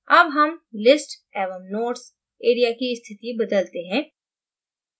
अब हम list एवं notes एरिया की स्थिति बदलते हैं